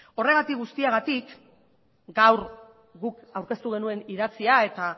horregatik guztiagatik gaur guk aurkeztu genuen idatzia eta